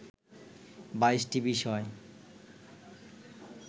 ২২টি বিষয়